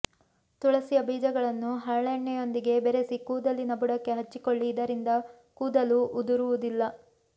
ತುಳಸಿಯ ಬೀಜಗಳನ್ನು ಹರಳೆಣ್ಣೆಯೊಂದಿಗೆ ಬೆರೆಸಿ ಕೂದಲಿನ ಬುಡಕ್ಕೆ ಹಚ್ಚಿಕೊಳ್ಳಿ ಇದರಿಂದ ಕೂದಲು ಉದುರುವುದಿಲ್ಲ